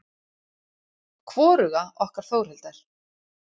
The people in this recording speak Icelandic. Hvoruga okkar Þórhildar.